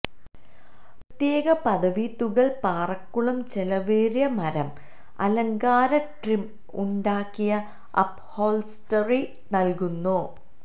പ്രത്യേക പദവി തുകൽ പാറകളും ചെലവേറിയ മരം അലങ്കാര ട്രിം ഉണ്ടാക്കിയ അപ്ഹോൾസ്റ്ററി നൽകുന്നു